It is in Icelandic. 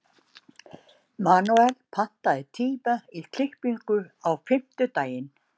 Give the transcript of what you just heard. Manuel, pantaðu tíma í klippingu á fimmtudaginn.